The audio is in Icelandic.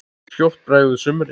Skjótt bregður sumri.